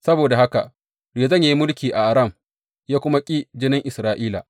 Saboda haka Rezon ya yi mulki a Aram ya kuma ƙi jinin Isra’ila.